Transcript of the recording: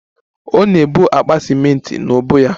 Ọ na-ebu akpa ciment n'ubu ya